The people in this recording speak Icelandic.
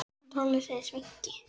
Þú hlýtur að skilja það.